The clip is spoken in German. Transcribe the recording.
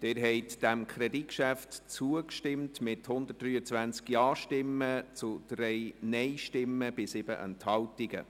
Sie haben diesem Kreditantrag zugestimmt mit 123 Ja- gegen 3 Nein-Stimmen bei 7 Enthaltungen.